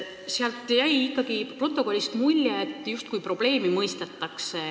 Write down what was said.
Protokollist jäi ikkagi mulje, justkui probleemi mõistetaks.